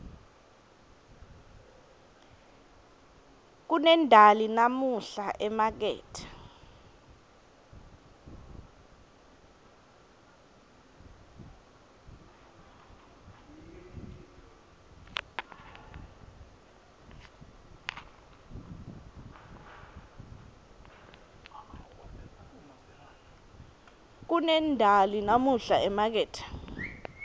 kunendali namuhla emakethe